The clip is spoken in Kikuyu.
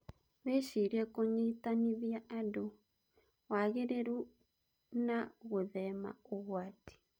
Wĩcirie kũnyitanithia andũ, wagĩrĩru and gũthema ũgwati.